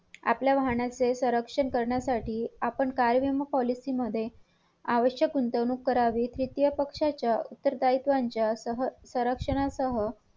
आपल्या वाहनाचे संरक्षण करण्यासाठी आपण कायम policy मध्ये आवश्यक गुंतवणूक करावी तृतीय पक्षाच्या उत्तर द्वैत्वाच्या संरक्षणासह